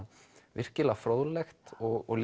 virkilega fróðlegt og